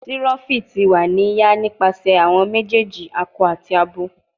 Tiroffi ti wa ni ya nipasẹ awọn mejeeji akọ ati abo